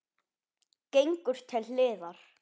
Gengur til hliðar.